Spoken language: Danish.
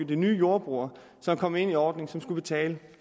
de nye jordbrugere der kom ind i ordningen som skulle betale